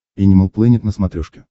энимал плэнет на смотрешке